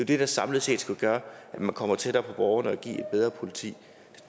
det der samlet skal gøre at man kommer tættere på borgerne og give et bedre politi